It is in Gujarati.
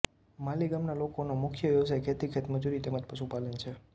માલી ગામના લોકોનો મુખ્ય વ્યવસાય ખેતી ખેતમજૂરી તેમ જ પશુપાલન છે